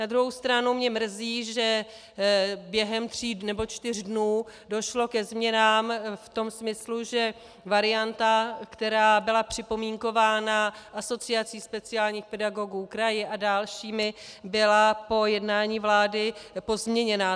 Na druhou stranu mě mrzí, že během tří nebo čtyř dnů došlo ke změnám v tom smyslu, že varianta, která byla připomínkována Asociací speciálních pedagogů, kraji a dalšími, byla po jednání vlády pozměněna.